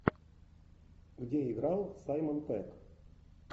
где играл саймон пегг